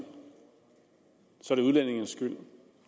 så er det udlændingenes skyld